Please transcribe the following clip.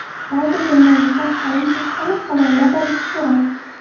Ba’zi jurnalistlar qalam haqini halollab olishi kerak.